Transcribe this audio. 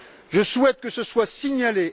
Je souhaite que ce soit signalé.